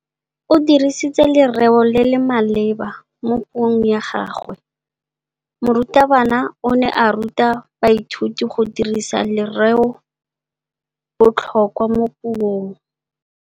O dirisitse lerêo le le maleba mo puông ya gagwe. Morutabana o ne a ruta baithuti go dirisa lêrêôbotlhôkwa mo puong.